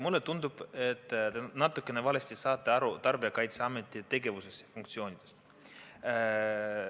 Mulle tundub, et te saate natukene valesti aru Tarbijakaitseameti tegevusest ja funktsioonidest.